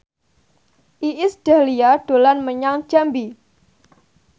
Iis Dahlia dolan menyang Jambi